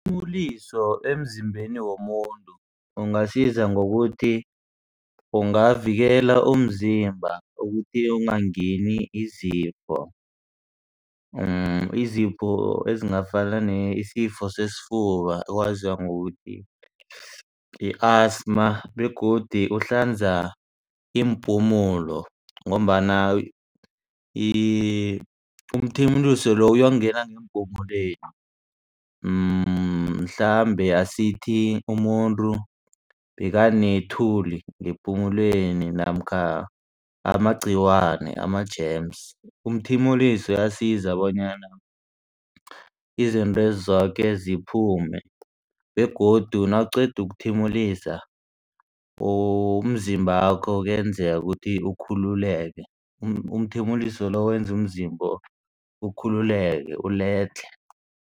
emzimbeni womuntu ungasiza ngokuthi ungavikela umzimba ukuthi ongangeni izifo. Izifo ezingafana nesifo sesifuba oziwa ngokuthi yi-asathma begodu uhlanza iimpumulo ngombana umthimuliso lo uyokungena ngeempumulweni mhlambe asithi umuntu bekanethuli ngepumulweni namkha amagciwane ama-germs. Umthimuliso uyasiza bonyana izintwezi zoke ziphume begodu nawuqeda ukuthimulisa umzimbakho kuyenzeka ukuthi ukhululeke umthimuliso lo wenza umzimba ukhululeke uledlhe.